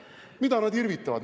Mida nad irvitavad?!